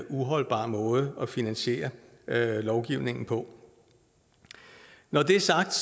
uholdbar måde at finansiere lovgivningen på når det er sagt